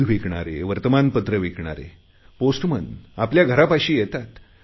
दूध विकणारे वर्तमानपत्र विकणारे पोस्टमन आपल्या घरापाशी येतात